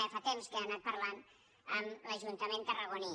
ja fa temps que n’ha anat parlant amb l’ajuntament tarragoní